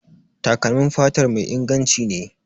Takalmin fatar mai inganci ne.